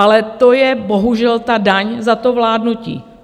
Ale to je bohužel ta daň za to vládnutí.